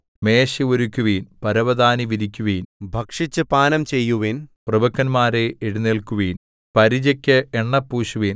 മേശ ഒരുക്കുവിൻ പരവതാനി വിരിക്കുവിൻ ഭക്ഷിച്ചു പാനം ചെയ്യുവിൻ പ്രഭുക്കന്മാരേ എഴുന്നേല്ക്കുവിൻ പരിചക്ക് എണ്ണ പൂശുവിൻ